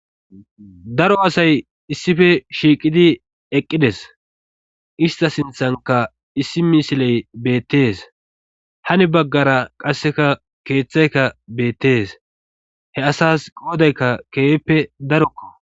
daro asay issife shiiqidi eqqides ista sinthanka issi misiley beettees hani baggara qasseka keeththayka beettees he asas goodaykka keeheppe darokko